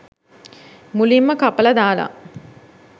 මුලින්ම කපල දාල